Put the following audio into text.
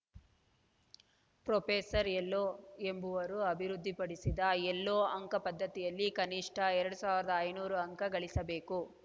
professor Elo ಎಂಬವರು ಅಭಿವೃದ್ಧಿಪಡಿಸಿದ Elo ಅಂಕ ಪದ್ಧತಿಯಲ್ಲಿ ಕನಿಷ್ಠ ಎರಡ್ ಸಾವಿರದ ಐನೂರು ಅಂಕ ಗಳಿಸಬೇಕು